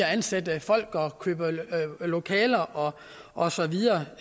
at ansætte folk og købe lokaler og og så videre